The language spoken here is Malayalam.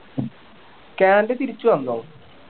കാൻഡ തിരിച്ചു വന്നോ